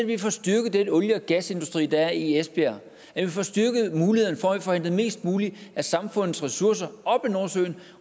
vi får styrket den olie og gasindustri der er i esbjerg at vi får styrket muligheden for at vi får hentet mest muligt af samfundets ressourcer op af nordsøen